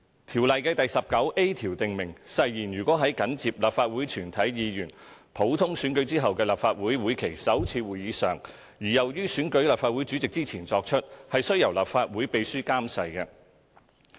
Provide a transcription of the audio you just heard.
《條例》第 19a 條訂明，誓言如在緊接立法會全體議員普通選舉後的立法會會期首次會議上而又於選舉立法會主席之前作出，須由立法會秘書監誓。